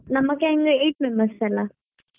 ನಮ್ gang ನ eight members ಅಲ್ಲಾ?